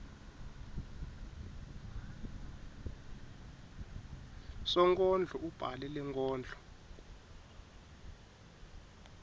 sonkondlo ubhale lenkondlo